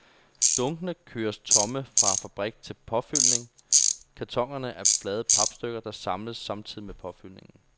Dunkene køres tomme fra fabrik til påfyldning, kartonerne er flade papstykker, der samles samtidig med påfyldningen.